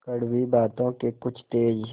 कड़वी बातों के कुछ तेज